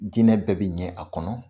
Diinɛ bɛɛ bi ɲɛ a kɔnɔ